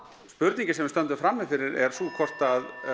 spurningin sem við stöndum frammi fyrir er hvort